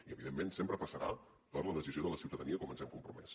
i evidentment sempre passarà per la decisió de la ciutadania com ens hi hem compromès